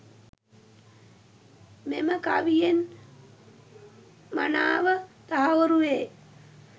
මෙම කවියෙන් මනාව තහවුරු වේ.